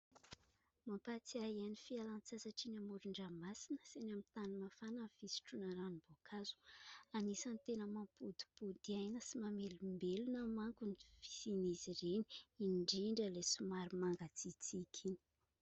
Mampatsiahy ny fialan-tsasatra any amoron-dranomasina sy ny amin' ny tany mafana ny fisotroana ranom-boankazo. Anisany tena mampodipody aina sy mamelombelona manko ny fisian' izy ireny indrindra ilay somary mangatsiatsiaka iny.